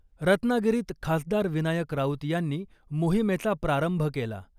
रत्नागिरीत खासदार विनायक राऊत यांनी मोहिमेचा प्रारंभ केला .